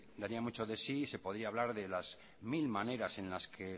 daría mucho de sí y se podría hablar de las mil maneras en las que